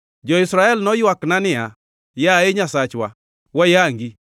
Jo-Israel noywakna niya, ‘Yaye Nyasachwa, wayangi!’